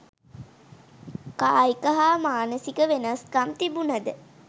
කායික හා මානසික වෙනස්කම් තිබුණද